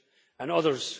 and others.